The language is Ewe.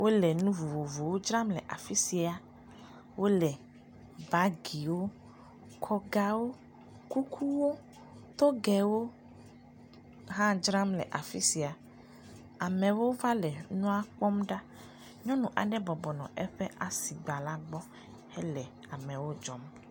Wole nu vovovowo dzram le afi sia. Wole bagiwo, kɔgawo, kukuwo togɛwo hã dzram le afi sia. Amewo va le nuawo kpɔm ɖa. Nyɔnu aɖe bɔbɔ nɔ eƒe asigba la gbɔ hele amewo dzɔm.